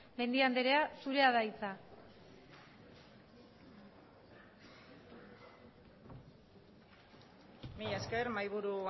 mendia andrea zurea da hitza mila esker mahaiburu